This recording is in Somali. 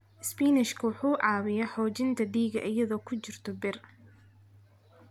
Isbinaashka wuxuu caawiyaa xoojinta dhiigga iyadoo ay ku jirto bir.